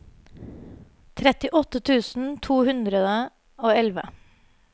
trettiåtte tusen to hundre og elleve